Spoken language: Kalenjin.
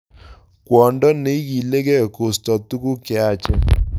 Kwondo neikilege kosta tukuk cheyachen